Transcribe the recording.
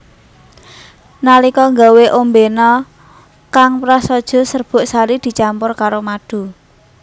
Nalika gawé ombena kang prasaja serbuk sari dicampur karo madu